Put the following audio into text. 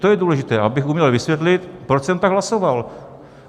To je důležité, abych uměl vysvětlit, proč jsem tak hlasoval.